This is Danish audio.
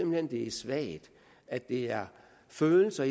hen det er svagt at det er følelser